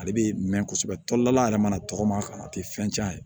Ale bɛ mɛn kosɛbɛ tɔlila yɛrɛ mana tɔgɔma ka a tɛ fɛn cɛn a ye